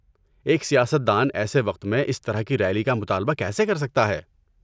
ایک سیاست دان ایسے وقت میں اس طرح کی ریلی کا مطالبہ کیسے کر سکتا ہے؟